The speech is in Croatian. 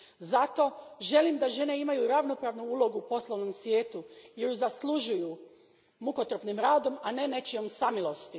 Zato želim da žene imaju ravnopravnu ulogu u poslovnom svijetu jer je zaslužuju mukotrpnim radom, a ne nečijom samilošću.